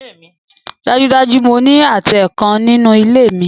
Dájúdájú! Mo ní àtẹ kan nínú ilé mi